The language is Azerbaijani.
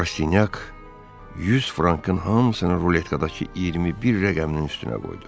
Rasinyak 100 frankın hamısını ruletkadakı 21 rəqəminin üstünə qoydu.